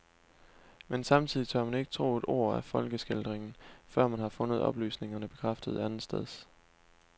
Men samtidig tør man ikke tro et ord af folkeskildringen, før man har fundet oplysningerne bekræftet andetsteds.